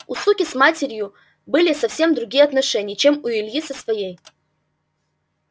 у суки с его матерью были совсем другие отношения чем у ильи со своей